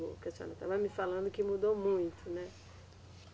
Porque a senhora estava me falando que mudou muito, né?